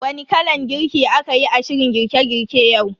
Wani kalan girki a kayi a shirin girke girke yau?